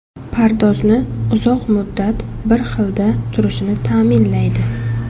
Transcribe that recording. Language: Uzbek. Pardozni uzoq muddat bir xilda turishini ta’minlaydi.